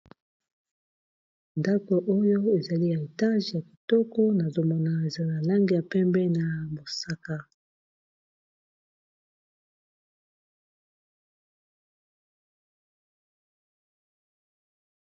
Ndaku oyo ezali etage ya kitoko nazomona eza na lange ya pembe na mosaka.